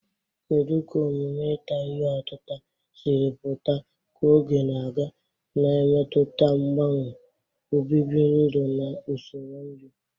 Kedu ka omume ita ihe otita siri pụta ka oge na-aga, na-emetụta mgbanwe obibi ndụ na usoro nri?